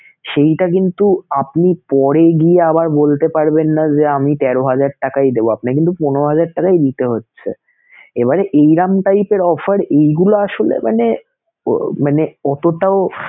সেইটা কিন্তু আপনি পরে গিয়ে আবার বলতে পারবেন না যে, আমি তেরো হাজার টাকাই দেবো আপনার কিন্তু পনেরো হাজার টাকাই দিতে হচ্ছে এবারে এইরকম type এর offer এইগুলো আসলে মানে মানে অতোটাও